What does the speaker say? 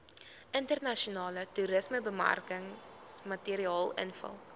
internasionale toerismebemarkingsmateriaal invul